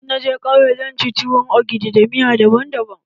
In na je kauye, zan ci tuwon ogidi da miya daban daban.